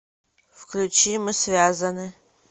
включи мы связаны